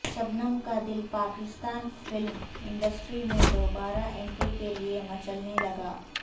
شبنم کا دل Pakistan film industry میں دوبارہ انٹری کیلئے مچلنے لگا